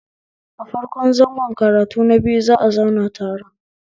A farko zango karatu na biyu za'a zauna taron